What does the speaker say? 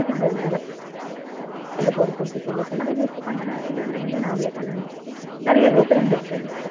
colleges ஓட level அ பொறுத்து இருக்கு சில colleges க்கு பண்றா சில இதுல வந்து நாமளே பண்ணணும் நிறைய different இருக்கு அதுல